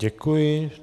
Děkuji.